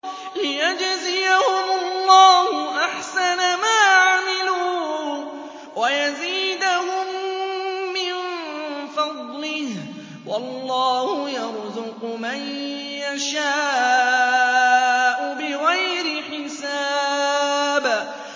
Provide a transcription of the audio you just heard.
لِيَجْزِيَهُمُ اللَّهُ أَحْسَنَ مَا عَمِلُوا وَيَزِيدَهُم مِّن فَضْلِهِ ۗ وَاللَّهُ يَرْزُقُ مَن يَشَاءُ بِغَيْرِ حِسَابٍ